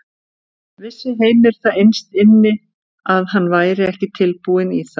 Vissi Heimir það innst inni að hann væri ekki tilbúinn í það?